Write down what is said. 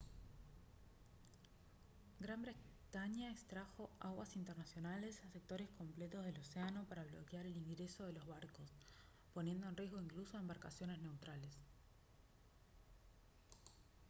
gran bretaña extrajo aguas internacionales en sectores completos del océano para bloquear el ingreso de los barcos poniendo en riesgo incluso a embarcaciones neutrales